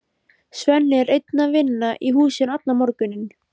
Svenni er einn að vinna í húsinu allan morguninn.